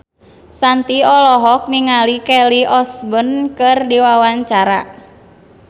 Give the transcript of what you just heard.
Shanti olohok ningali Kelly Osbourne keur diwawancara